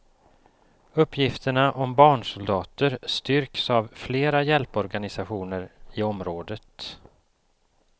Uppgifterna om barnsoldater styrks av flera hjälporganisationer i området.